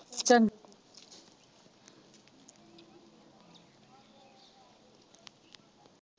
ਚੰਗਾ।